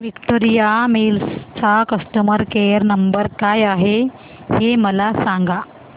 Victoria Mills चा customer care number काय आहे हे मला सांगा